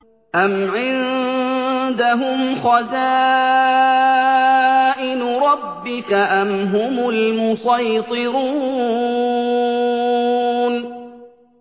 أَمْ عِندَهُمْ خَزَائِنُ رَبِّكَ أَمْ هُمُ الْمُصَيْطِرُونَ